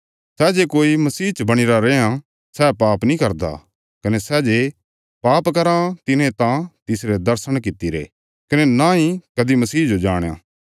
सै जे कोई मसीह च बणीरा रैयां सै पाप नीं करदा कने सै जे पाप कराँ तिने न त तिसरे दर्शण कीतिरे कने नई कदीं मसीह जो जाणया